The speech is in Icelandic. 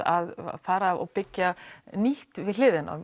að fara og byggja nýtt við hliðina